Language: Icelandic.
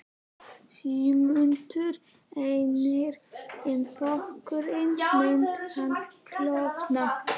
Sigmundur Ernir: En flokkurinn, myndi hann klofna?